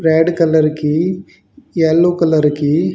red colour की yellow colour की--